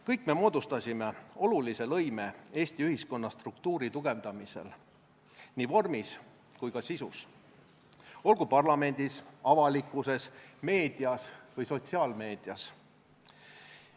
Kõik me moodustasime olulise lõime Eesti ühiskonna struktuuri tugevdamisel, nii vormis kui ka sisus, olgu parlamendis, avalikkuses, meedias või sotsiaalmeedias.